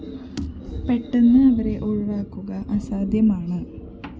പെട്ടെന്ന് അവരെ ഒഴിവാക്കുക അസാധ്യമാണ്